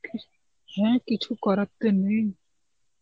হ্যাঁ, কিছু করার তো নেই.